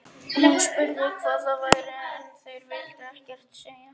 Hún spurði hvað það væri en þeir vildu ekkert segja.